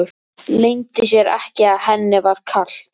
Leyndi sér ekki að henni var kalt.